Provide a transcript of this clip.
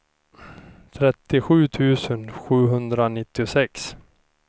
trettiosju tusen sjuhundranittiosex